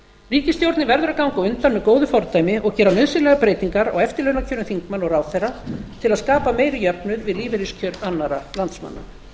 ríkisstjórnin verður að ganga á undan með góðu fordæmi og gera nauðsynlegar breytingar á eftirlaunakjörum þingmanna og ráðherra til að skapa meiri jöfnuð við lífeyriskjör annarra landsmanna